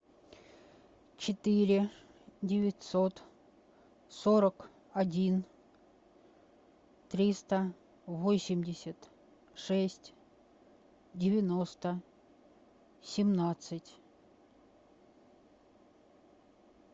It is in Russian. четыре девятьсот сорок один триста восемьдесят шесть девяносто семнадцать